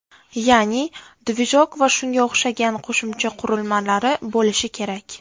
Ya’ni, ‘dvijok’ va shunga o‘xshagan qo‘shimcha qurilmalari bo‘lish kerak.